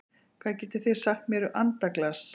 Hvað getið þið sagt mér um andaglas?